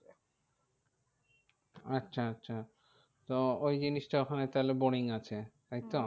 আচ্ছা আচ্ছা তো ওই জিনিসটা ওখানে তাহলে boring আছে তাই তো?